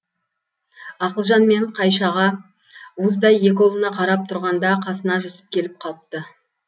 ақылжан мен қайшаға уыздай екі ұлына қарап тұрғанда қасына жүсіп келіп қалыпты